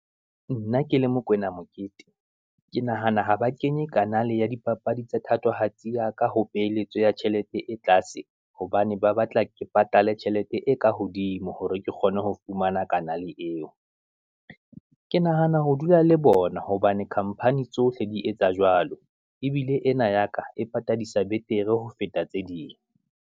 Nna ke le Mokoena Mokete, ke nahana ha ba kenye kanaal-e ya dipapadi tsa thatohatsi ya ka, ho peeletso ya tjhelete e tlase, hobane ba batla ke patale tjhelete e ka hodimo, ho re ke kgone ho fumana kanaal-e eo. Ke nahana ho dula le bona hobane khamphani tsohle di etsa jwalo, ebile ena ya ka e patadisa betere ho feta tse ding.